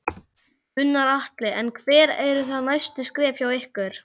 Gunnar Atli: En hver eru þá næstu skref hjá ykkur?